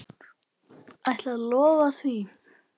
Ætlarðu að lofa því?